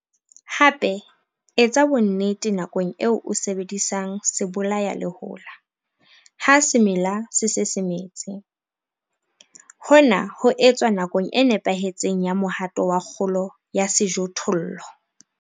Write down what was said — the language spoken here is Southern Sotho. Hape etsa bonnete nakong eo o sebedisang sebolayalehola sa ha semela se se se metse, hore hona ho etswa nakong e nepahetseng ya mohato wa kgolo ya sejothollo.